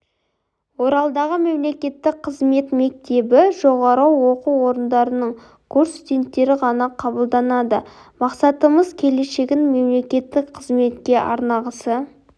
оралдағы мемлекеттік қызмет мектебіне жоғары оқу орындарының курс студенттері ғана қабылданады мақсатымыз келешегін мемлекеттік қызметке арнағысы